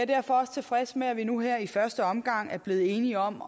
derfor også tilfreds med at vi nu her i første omgang er blevet enige om